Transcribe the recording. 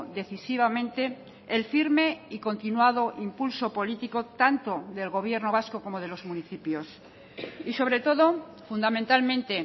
decisivamente el firme y continuado impulso político tanto del gobierno vasco como de los municipios y sobre todo fundamentalmente